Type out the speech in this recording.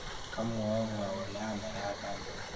Kamwoun ng'o kole anerat ane?